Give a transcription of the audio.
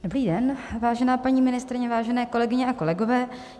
Dobrý den, vážená paní ministryně, vážené kolegyně a kolegové.